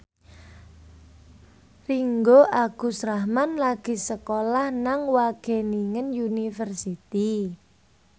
Ringgo Agus Rahman lagi sekolah nang Wageningen University